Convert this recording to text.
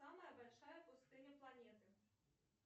самая большая пустыня планеты